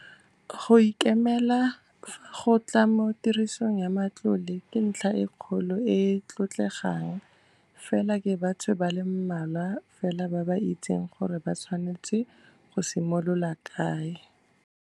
Go ikemela fa go tla mo tirisong ya matlole ke ntlha e kgolo e e tlotlegang, fela ke batho ba le mmalwa fela ba ba itseng gore ba tshwanetse go simolola kae.